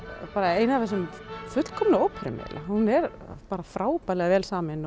ein af þessum fullkomnu óperum eiginlega hún er frábærlega vel samin og